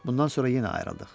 Bundan sonra yenə ayrıldıq.